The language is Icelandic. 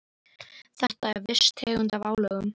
Þetta er viss tegund af álögum.